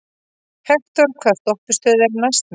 Hektor, hvaða stoppistöð er næst mér?